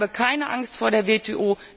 EU. Ich habe keine Angst vor der